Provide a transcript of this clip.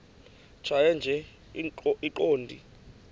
tjhaya nje iqondee